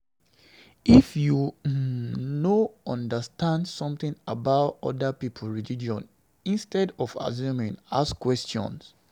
If you um no understand something about oda pipo religion, instead of assuming, ask questions